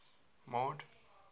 mord